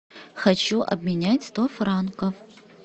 хочу обменять сто франков